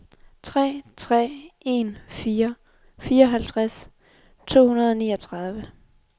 tre tre en fire fireoghalvtreds to hundrede og niogtredive